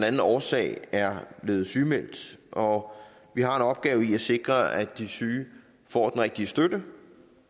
anden årsag er blevet sygemeldt og vi har en opgave i at sikre at de syge får den rigtige støtte